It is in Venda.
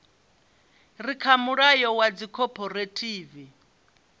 re kha mulayo wa dzikhophorethivi